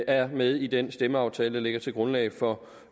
er med i den stemmeaftale der ligger til grundlag for